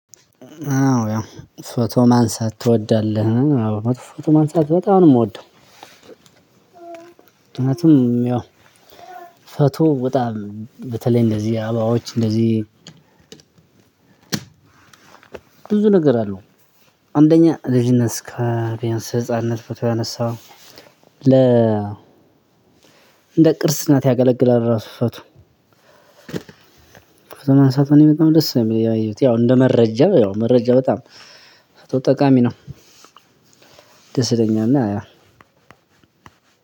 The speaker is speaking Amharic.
አዎ ያው ፎቶ ማንሳት ትወዳለህ? አዎ ፎቶ ማንሳት በጣም ነው ምወደው። እውነትም ያው ፎቶ በጣም በተለይ እንደዚህ አበባዎች እንደዚህ። ብዙ ነገር አለው። አንደኛ ልጅነት እነስካ ቢያንስ ህፃንነት ፎቶ ያነሳው ለ እንደ ቅርስ እናት ያገለግላል ራሱ። ፎቶ ማንሳት እኔ በጣም ደስ የሚለው ያው እንደ መረጃ ያው መረጃ በጣም ጠቃሚ ነው። ደስ ይለኛል እና ያ